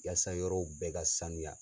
Yaasa yɔrɔ bɛɛ ka sanuya